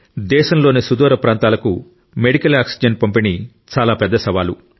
దేశంలోని సుదూర ప్రాంతాలకు మెడికల్ ఆక్సిజన్ పంపిణీ చాలా పెద్ద సవాలు